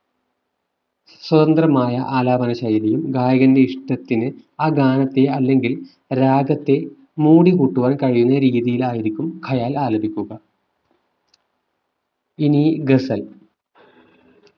സ്വതന്ത്രമായ ആലാപന ശൈലിയും ഗായകന്റെ ഇഷ്ടത്തിന് ആ ഗാനത്തെ അല്ലെങ്കിൽ രാഗത്തെ മോടി കൂട്ടുവാൻ കഴിയുന്ന രീതിയിലായിരിക്കും ഖയാല്‍ ആലപിക്കുക ഇനി ഗസൽ